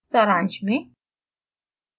सारांश में